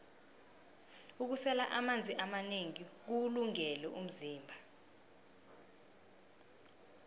ukusela amanzi amanengi kuwulungele umzimba